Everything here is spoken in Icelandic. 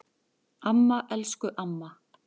Amma, elsku amma.